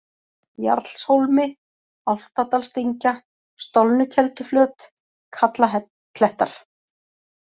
Jarlshólmi, Álftadalsdyngja, Stolnukelduflöt, Kallaklettar